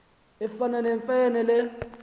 efana nemfe le